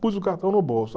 Pus o cartão no bolso.